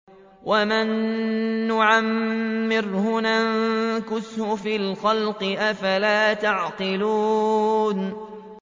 وَمَن نُّعَمِّرْهُ نُنَكِّسْهُ فِي الْخَلْقِ ۖ أَفَلَا يَعْقِلُونَ